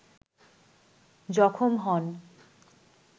জখম হন